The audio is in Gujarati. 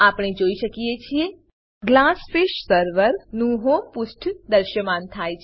આપણે જોઈએ છીએ કે ગ્લાસફિશ સર્વર ગ્લાસફીશ સર્વર નું હોમ પુષ્ઠ દ્રશ્યમાન થાય છે